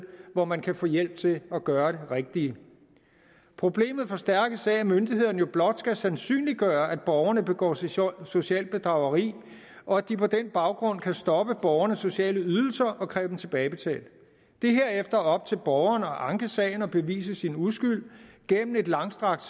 hvor man kan få hjælp til at gøre det rigtige problemet forstærkes af at myndighederne jo blot skal sandsynliggøre at borgerne begår socialt socialt bedrageri og at de på den baggrund kan stoppe borgernes sociale ydelser og kræve dem tilbagebetalt det er herefter op til borgeren at anke sagen og bevise sin uskyld gennem et langstrakt